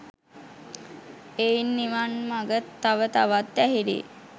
එයින් නිවන් මඟ තව තවත් ඇහිරී